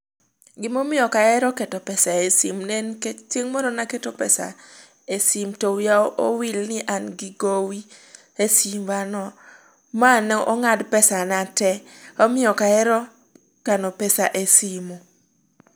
Gimomiyo okahero keto pesa e simu ne nikech, chieng' moro naketo pesa e simu to wiya owil ni an gi gowi e simba no, ma nong'ad pesa na tee. Omiyo okahero kano cs]pesa e simu.